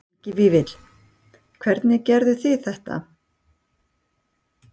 Helgi Vífill: Hvað, hvernig gerið þið þetta?